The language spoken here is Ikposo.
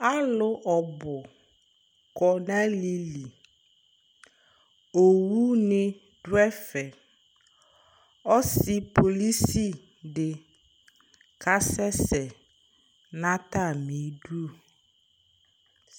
Alʋ ɔbʋ kɔ nʋ alɩli Owune dʋ ɛfɛ Ɔsɩ polisi dɩ kasɛsɛ nʋ atamɩdu